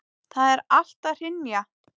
Það er allt að hrynja.